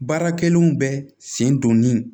Baara kɛlenw bɛ sen donni